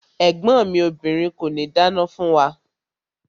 Ẹ̀gbọ́n mi obìrin kòní dáná fún wa.